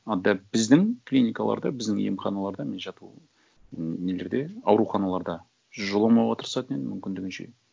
ы дәп біздің клиникаларда біздің емханаларда мен жату м нелерде ауруханаларда жоламауға тырысатын едім мүмкіндігінше